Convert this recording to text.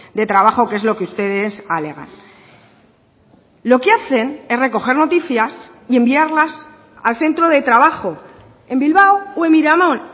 de trabajo que es lo que ustedes alegan lo que hacen es recoger noticias y enviarlas al centro de trabajo en bilbao o en miramón